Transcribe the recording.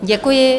Děkuji.